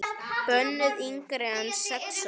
Bönnuð yngri en sex ára.